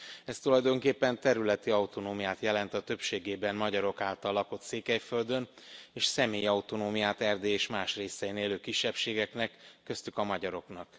Ez tulajdonképpen területi autonómiát jelent a többségében magyarok által lakott Székelyföldön és személyi autonómiát az Erdélyben és más részein élő kisebbségeknek, köztük a magyaroknak.